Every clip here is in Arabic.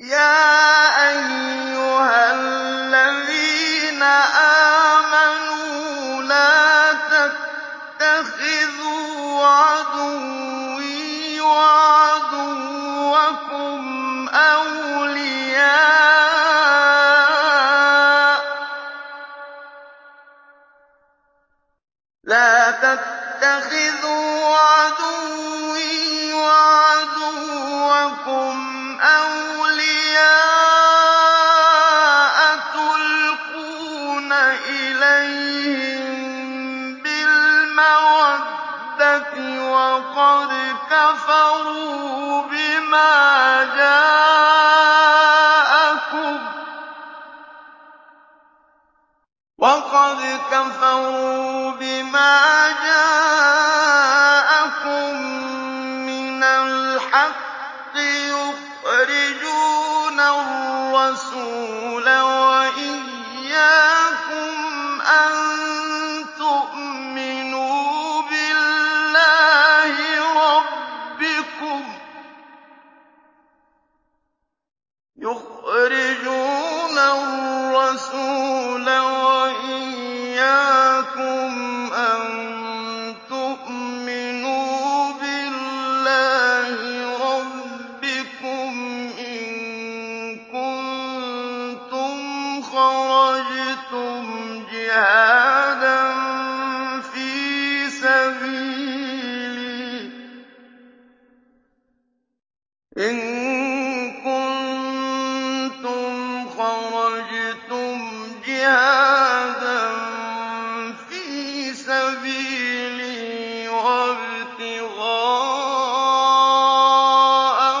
يَا أَيُّهَا الَّذِينَ آمَنُوا لَا تَتَّخِذُوا عَدُوِّي وَعَدُوَّكُمْ أَوْلِيَاءَ تُلْقُونَ إِلَيْهِم بِالْمَوَدَّةِ وَقَدْ كَفَرُوا بِمَا جَاءَكُم مِّنَ الْحَقِّ يُخْرِجُونَ الرَّسُولَ وَإِيَّاكُمْ ۙ أَن تُؤْمِنُوا بِاللَّهِ رَبِّكُمْ إِن كُنتُمْ خَرَجْتُمْ جِهَادًا فِي سَبِيلِي وَابْتِغَاءَ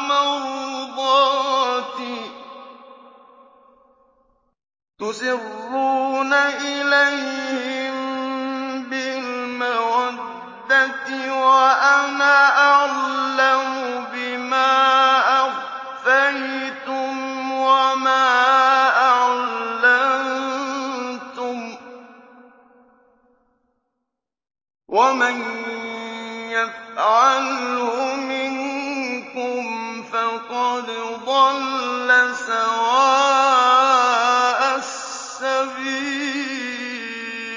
مَرْضَاتِي ۚ تُسِرُّونَ إِلَيْهِم بِالْمَوَدَّةِ وَأَنَا أَعْلَمُ بِمَا أَخْفَيْتُمْ وَمَا أَعْلَنتُمْ ۚ وَمَن يَفْعَلْهُ مِنكُمْ فَقَدْ ضَلَّ سَوَاءَ السَّبِيلِ